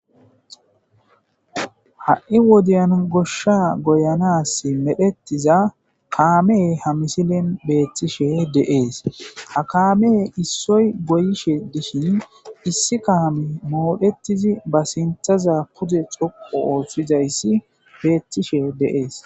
ha'i wodiyan goshsha goyanas medhettiza kaame ha misilen beettishe deees ha kaame issoy goyishe dishin issi kaame mooretid ba sinthaza pude dhoqu oothizayis beettishe deees